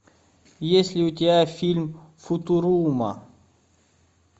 есть ли у тебя фильм футурума